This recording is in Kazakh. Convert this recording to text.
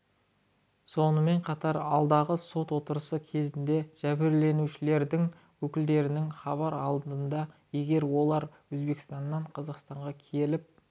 сонымен қатар алдағы сот отырысы кезінде жәбірленушілердің өкілдерінен хабар алынады егер олар өзбекстаннан қазақстанға келіп